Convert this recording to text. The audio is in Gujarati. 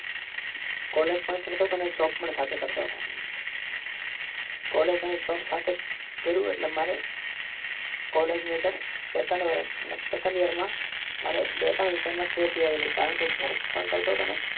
પણ કરતો હતો ને જોબ પણ સાથે કરતો હતો કોલેજ અને જોબ્સ એક સાથે કર્યું એટલે મારે કોલેજની અંદર સેકન્ડ વર્ષ મતલબ સેકન્ડ યરમાં મારે બે ત્રણ વિષયમાં કેટી આવેલી કારણ કે જોબ પણ કરતો